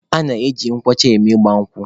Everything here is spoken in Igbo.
A na-eji nkwụ ọcha eme ịgba nkwụ.